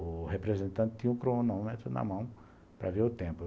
O representante tinha o cronômetro na mão para ver o tempo.